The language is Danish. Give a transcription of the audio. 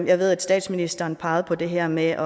jeg ved at statsministeren pegede på det her med